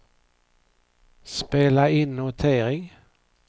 spela in notering